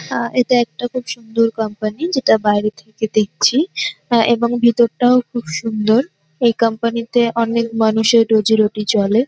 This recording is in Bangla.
আ এটা একটা খুব সুন্দর কম্পানি যেটা বাইরে থেকে দেখছি এবং ভেতরটাও খুব সুন্দর এই কম্পানি -তে অনেক মানুষের রোজী রোটি চলে।